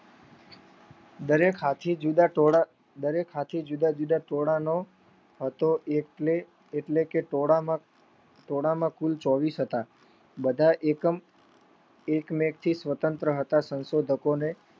દરેક હાથી જુદા જુદા ટોળાનો હતો એટલે કે ટોળામાં કુલ ચોવીશ હતા બધા એકમ એક મેક થી સ્વત્રંત્ર હતા. સંશોધકોને